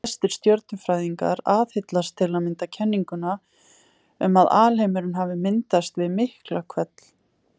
Flestir stjörnufræðingar aðhyllast til að mynda kenninguna um að alheimurinn hafi myndast við Miklahvell.